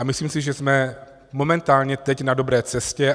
A myslím si, že jsme momentálně teď na dobré cestě.